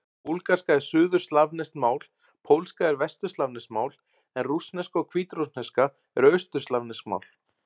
Búlgarska er suðurslavneskt mál, pólska er vesturslavneskt mál en rússneska og hvítrússneska eru austurslavnesk mál.